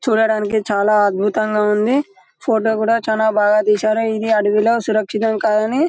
చూడడానికి చాలా అద్భుతంగా ఉంది ఫోటో కూడా చాలా బాగా తీశారు ఇది అడివిలో సురక్షితం కాదని --